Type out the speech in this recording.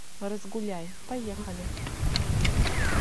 разгуляй поехали